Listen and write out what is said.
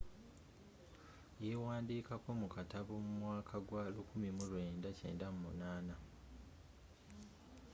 y'ewandikako mu katabo mu mwaka gwa 1998